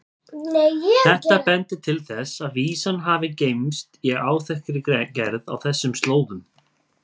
Þetta bendir til þess að vísan hafi geymst í áþekkri gerð á þessum slóðum.